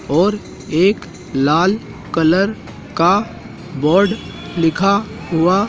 और एक लाल कलर का बोर्ड लिखा हुआ--